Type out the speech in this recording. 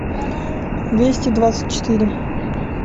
двести двадцать четыре